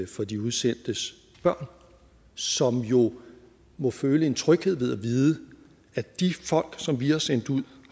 for de udsendtes børn som jo må føle en tryghed ved at vide at de folk som vi har sendt ud